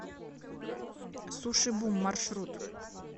суши бум маршрут